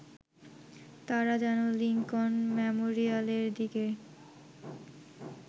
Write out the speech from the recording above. তারা যেন লিংকন মেমোরিয়ালের দিকে